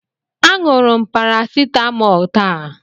Aṅụrụ m parasitamọl taa.